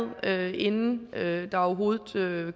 inden der overhovedet